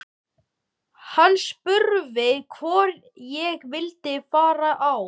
Hann spurði hvort ég vildi fara á